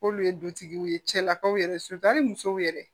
K'olu ye dutigiw ye cɛlakaw yɛrɛ musow yɛrɛ